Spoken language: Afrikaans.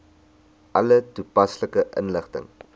alle toepaslike inligting